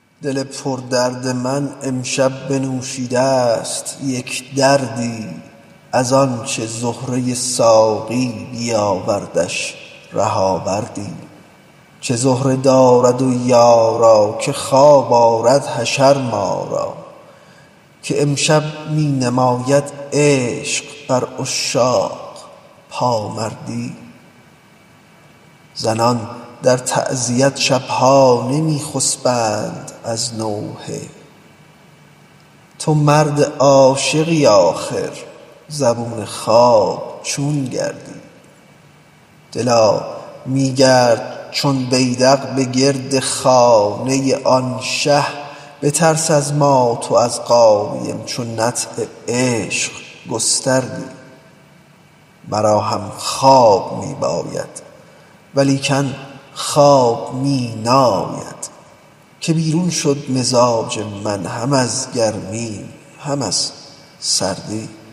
دل پردرد من امشب بنوشیده ست یک دردی از آنچ زهره ساقی بیاوردش ره آوردی چه زهره دارد و یارا که خواب آرد حشر ما را که امشب می نماید عشق بر عشاق پامردی زنان در تعزیت شب ها نمی خسبند از نوحه تو مرد عاشقی آخر زبون خواب چون گردی دلا می گرد چون بیدق به گرد خانه آن شه بترس از مات و از قایم چو نطع عشق گستردی مرا هم خواب می باید ولیکن خواب می ناید که بیرون شد مزاج من هم از گرمی هم از سردی